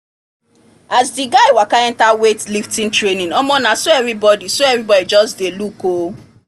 as the guy waka enter weight lifting training omo na so everybody so everybody just dey look o